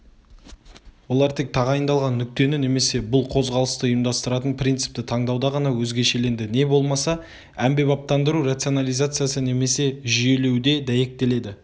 олар тек тағайындалған нүктені немесе бұл қозғалысты ұйымдастыратын принципті таңдауда ғана өзгешеленді не болмаса әмбебаптандыру рационализациясы немесе жүйелеуде дәйектеледі